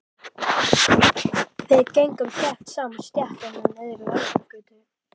Við gengum þétt saman stéttina niður í Lækjargötu.